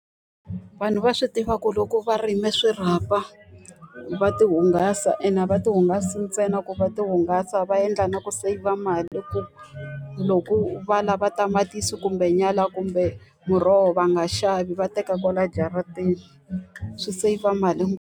Vanhu va swi tiva ku loko va rime swirhapa, va ti hungasa ene a va ti hungasa ntsena ku va ti hungasa va endla na ku seyivha mali. Ku loko va lava tamatisi kumbe nyala kumbe muroho va nga xavi, va teka kwala jarateni. Swi seyivha mali .